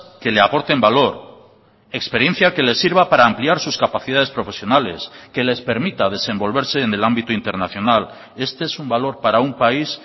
que le aporten valor experiencia que le sirva para ampliar sus capacidades profesionales que les permita desenvolverse en el ámbito internacional este es un valor para un país